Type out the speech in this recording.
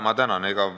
Ma tänan!